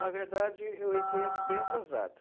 Na verdade, eu entrei bem atrasado.